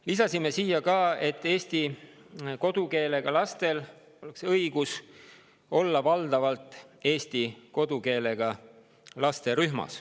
Lisasime ka, et eesti kodukeelega lastel oleks õigus olla valdavalt eesti kodukeelega laste rühmas.